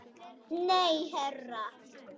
Nei, herra